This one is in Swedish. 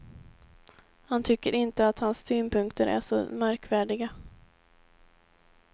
Han tycker inte att hans synpunkter är så märkvärdiga.